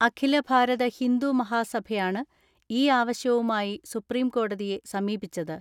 അഖിലഭാരത ഹിന്ദു മഹാസഭയാണ് ഈയാവശ്യവുമായി സുപ്രീംകോടതി യെ സമീപിച്ചത്.